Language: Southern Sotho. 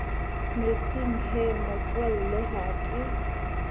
metsing he motswalle ha ke